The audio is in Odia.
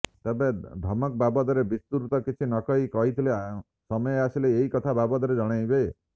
ତେବେ ଧମକ ବାବଦରେ ବିସ୍ତୃତ କିଛି ନ କହି କହିଥିଲେ ସମୟ ଆସିଲେ ଏହି କଥା ବାବଦରେ ଜଣାଇବେ